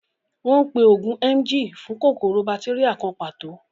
Wọ́n ń pe oògùn Emgyl fún kòkòrò bátéríà kan pàtó